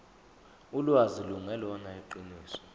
ulwazi lungelona iqiniso